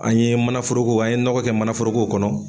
An ye mana foroko a ye nɔkɔ kɛ mana foroko kɔnɔ.